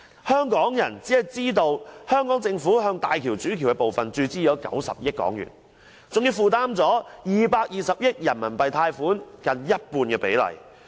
香港人只知道，香港政府向大橋主橋的部分注資了90億元，還負擔了220億元人民幣貸款近半比例。